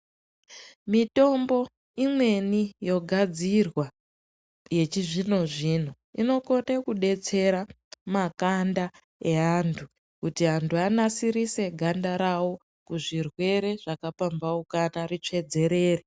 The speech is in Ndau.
Mitombo imweni yogadzirwa yechizvino zvino, inokone kudetsera makanda evantu kuti antu anasirise ganda rawo kuzvirwere zvakapambaukana ritsvedzerere.